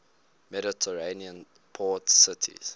mediterranean port cities